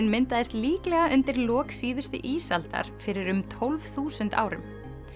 myndaðist líklega undir lok síðustu ísaldar fyrir um tólf þúsund árum